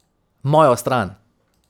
Mojo stran.